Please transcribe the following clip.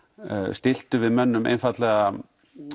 stilltum við mönnum einfaldlega